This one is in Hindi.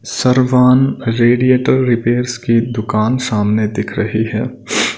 श्रवण रेडिएटर रिपेयर्स की दुकान सामने दिख रही है।